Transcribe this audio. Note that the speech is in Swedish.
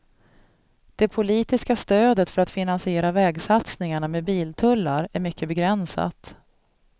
Det politiska stödet för att finansiera vägsatsningarna med biltullar är mycket begränsat.